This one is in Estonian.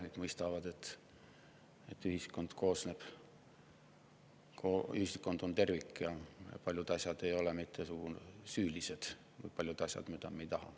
Nüüd mõistetakse, et ühiskond on tervik ja paljud asjad, mida me ei taha, ei ole mitte süülised.